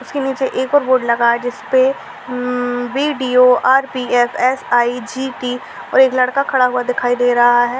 उसके नीचे एक और बोर्ड लगा है जिस पे hmm V D O R P F S I G T और एक लड़का खड़ा हुआ दिखाई दे रहा है ।